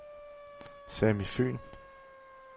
Sami Fyhn